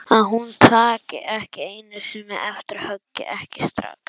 Að hún taki ekki einu sinni eftir höggi, ekki strax.